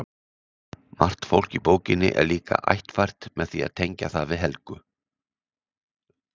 Margt fólk í bókinni er líka ættfært með því að tengja það við Helga.